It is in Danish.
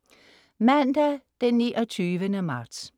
Mandag den 29. marts